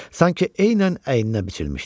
Sanki eynən əyninə biçilmişdi.